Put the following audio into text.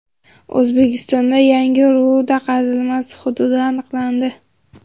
O‘zbekistonda yangi ruda qazilmasi hududi aniqlandi.